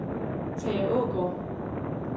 Tage Aagaard